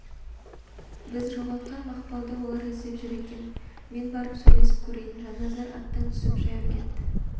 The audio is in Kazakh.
біз жоғалтқан мақпалды олар іздеп жүр екен мен барып сөйлесіп көрейін жанназар аттан түсіп жаяу кетті